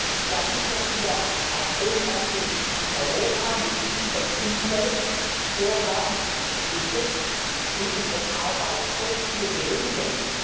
Ich glaube nicht, dass wir auch ohne Dumping in Europa mit unseren Umweltvorgaben, die ich unterstütze, und unseren Arbeitskosten, die wir benötigen,